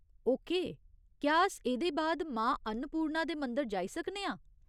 Okay, क्या अस एह्दे बाद मां अन्नपूर्णा दे मंदर जाई सकने आं?